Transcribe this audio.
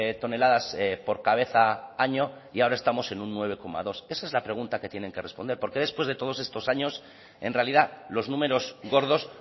toneladas por cabeza año y ahora estamos en un nueve coma dos esa es la pregunta que tienen que responder por qué después de todos estos años en realidad los números gordos